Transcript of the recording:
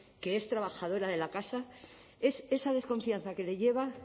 que es trabajadora de la casa es esa desconfianza que le lleva